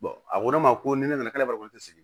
a ko ne ma ko ni ne nana k'ale b'a fɔ ko n tɛ sigi